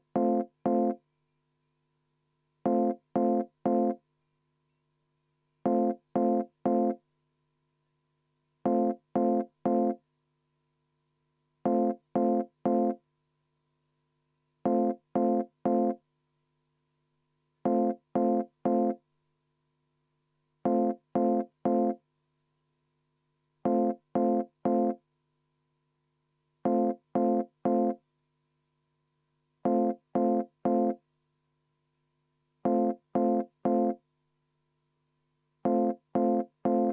Ma ei tea, kas ma nüüd natukene kiirustasin, aga kuna me läheme nüüd muudatusettepanekute juurde, siis seda muudatusettepanekut, mis sisaldub selles eelnõus, ma paluksin hääletada ja ma võtaksin ka kümme minutit vaheaega.